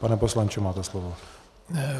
Pane poslanče, máte slovo.